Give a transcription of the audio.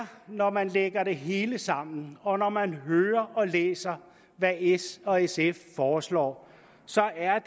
når man lægger det hele sammen og når man hører og læser hvad s og sf foreslår så er